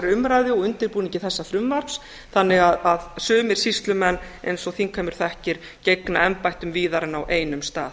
umræðu og undirbúningi þessa frumvarps þannig að sumir sýslumenn eins og þingheimur þekkir gegna embættum víðar en á einum stað